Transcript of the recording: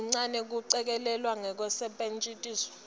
kuncane kucikelelwa kwekusetjentiswa